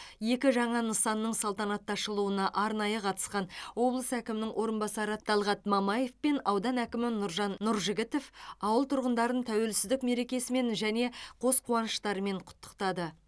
екі жаңа нысанның салтанатты ашылуына арнайы қатысқан облыс әкімінің орынбасары талғат мамаев пен аудан әкімі нұржан нұржігітов ауыл тұрғындарын тәуелсіздік меркесімен және қос қуаныштарымен құттықтады